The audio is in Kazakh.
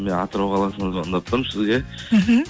мен атырау қаласынан звондап тұрмын сізге мхм